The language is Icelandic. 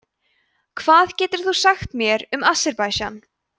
hvað getur þú sagt mér um aserbaídsjan